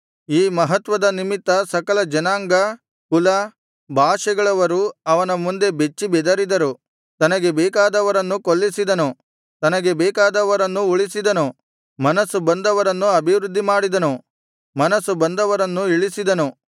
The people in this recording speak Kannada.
ಈ ಮಹತ್ವದ ನಿಮಿತ್ತ ಸಕಲ ಜನಾಂಗ ಕುಲ ಭಾಷೆಗಳವರು ಅವನ ಮುಂದೆ ಬೆಚ್ಚಿಬೆದರಿದರು ತನಗೆ ಬೇಕಾದವರನ್ನು ಕೊಲ್ಲಿಸಿದನು ತನಗೆ ಬೇಕಾದವರನ್ನು ಉಳಿಸಿದನು ಮನಸ್ಸು ಬಂದವರನ್ನು ಅಭಿವೃದ್ಧಿಮಾಡಿದನು ಮನಸ್ಸು ಬಂದವರನ್ನು ಇಳಿಸಿದನು